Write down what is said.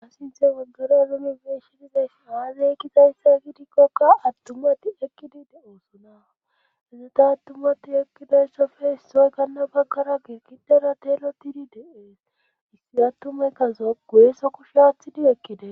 Ha sinthe waggara alomebeshidizayssi aazey ekkizayssa gidikkokka attumati ekkidi de oosonaa hezeta attumati ekkidayssofe hissoy kanna baggara geekidara teelotidi deees issi attumeykkazo goeesa kush aathidi ekkide.